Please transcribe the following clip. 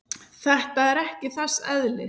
Þetta er ekki þess eðlis.